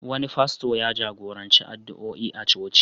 Wani fasto ya jagoranci addu'oi a coci.